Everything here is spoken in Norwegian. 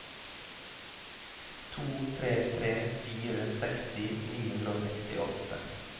to tre tre fire seksti ni hundre og sekstiåtte